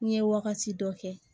N ye wagati dɔ kɛ